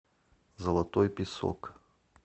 золотой песок